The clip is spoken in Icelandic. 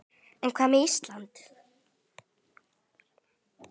En hvað með Ísland?